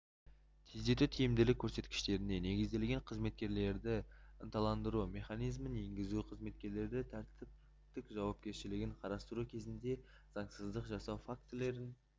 тездету тиімділік көрсеткіштеріне негізделген қызметкерлерді ынталандыру механизмін енгізу қызметкерлердің тәртіптікжауапкершілігін қарастыру кезінде заңсызсыздық жасау фактілерін